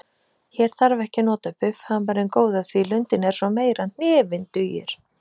Hér þarf ekki að nota buffhamarinn góða því lundin er svo meyr að hnefinn dugar.